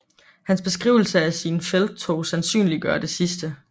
Hans beskrivelse af sine felttog sandsynliggør det sidste